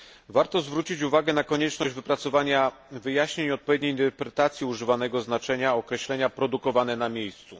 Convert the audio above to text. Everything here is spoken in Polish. Warto zwrócić uwagę na konieczność wypracowania wyjaśnień i odpowiedniej interpretacji używanego znaczenia określenia produkowane na miejscu.